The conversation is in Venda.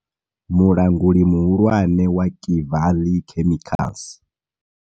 Mulanguli muhulwane wa kevaḽi chemicals